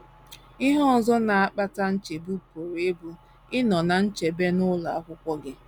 Ihe ọzọ na - akpata nchegbu pụrụ ịbụ ịnọ ná nchebe n’ụlọ akwụkwọ gị.